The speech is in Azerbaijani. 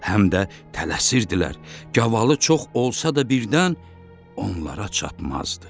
Həm də tələsirdilər, gavalı çox olsa da birdən onlara çatmazdı.